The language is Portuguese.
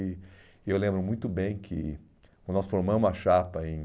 E e eu lembro muito bem que, quando nós formamos a chapa em...